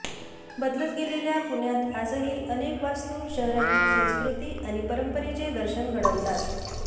बदलत गेलेल्या पुण्यात आजही अनेक वास्तू शहराची संस्कृती आणि परंपरेचे दर्शन घडवतात